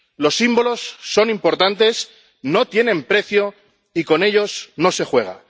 Los símbolos son importantes, no tienen precio y con ellos no se juega.